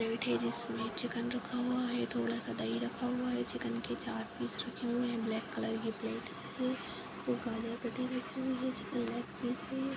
यह प्लेट है जिसमे चिकन रखा हुआ है थोड़ा सा दही रखा हुआ है चिकन के चार पीस रखे हुए हैं ब्लैक कलर की प्लेट है दो काले दिख रहें हैं चिकन लेग पीस है।